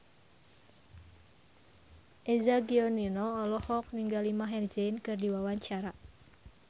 Eza Gionino olohok ningali Maher Zein keur diwawancara